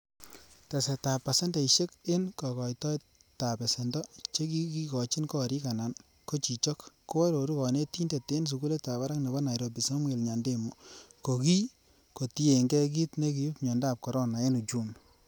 Tesetab ab pasendeisiek en kokoitoet ab besendo che kigochin gorik anan ko chichok, ko ororu Kkonetindet en sugulitab barak nebo Nairobi, Samuel Nyandemo, ko kii kotienge kit nekiib miondab corona en uchumi.